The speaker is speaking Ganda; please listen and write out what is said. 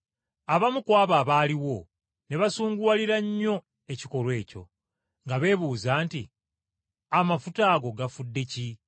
Abamu ku abo abaaliwo ne basunguwalira nnyo ekikolwa ekyo, nga beebuuza nti, “Amafuta ago gafudde ki?